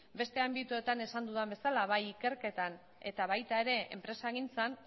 beste alorretan esan dudan bezala bai ikerketan eta baita enpresagintzan